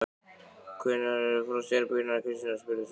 Hvenær var frost í herberginu hennar Kristínar? spurði sonur minn.